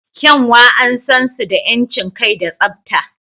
Kyanwa an san su da 'yancin kai da tsabta.